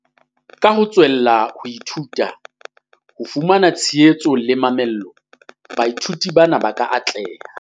"Ka ho tswella ho ithuta, ho fumantshwa tshehetso le mamello, baithuti bana ba ka atleha."